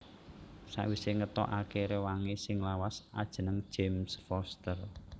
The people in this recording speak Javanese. Sawisé ngetokaké réwangé sing lawas ajeneng James Foster